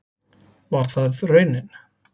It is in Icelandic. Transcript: Var það raunin?